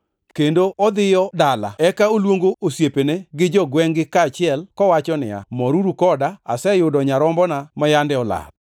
kendo odhiyo dala. Eka oluongo osiepene gi jogwengʼ-gi kaachiel, kowacho ni, ‘Moruru koda, aseyudo nyarombona ma yande olal.’